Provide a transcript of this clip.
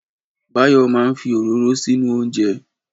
Báyọ̀ ma fi òróró sínú oúnjẹ.